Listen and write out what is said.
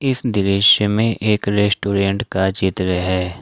इस दृश्य में एक रेस्टोरेंट का चित्र है।